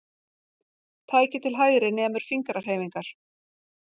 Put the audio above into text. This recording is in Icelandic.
Tækið til hægri nemur fingrahreyfingar.